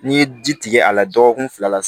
N'i ye ji tigɛ a la dɔgɔkun fila la